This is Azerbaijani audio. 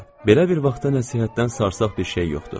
Belə bir vaxtda nəsihətdən sarsaq bir şey yoxdur.